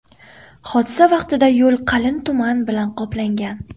Hodisa vaqtida yo‘l qalin tuman bilan qoplangan.